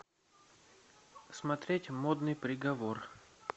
смотреть модный приговор